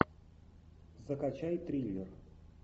закачай триллер